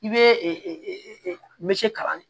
I bɛ kalan